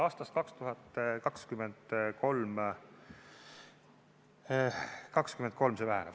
Aastast 2023 see väheneb.